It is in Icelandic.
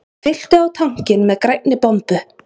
Fylltu á tankinn með grænni bombu